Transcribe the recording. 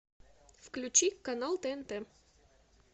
включи канал тнт